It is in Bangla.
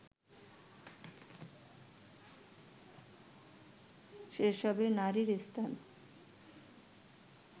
সেসবে নারীর স্থান